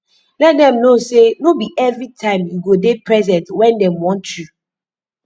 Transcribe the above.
let dem no sey no bi evritime yu go dey present wen dem want yu